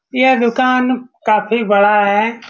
यह दूकान काफी बड़ा है।